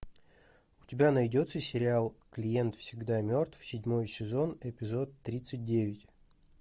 у тебя найдется сериал клиент всегда мертв седьмой сезон эпизод тридцать девять